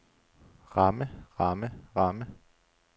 ramme ramme ramme